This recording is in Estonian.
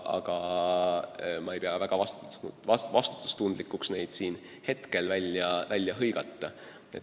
Aga ma ei pea vastutustundlikuks neid siin praegu välja hõigata.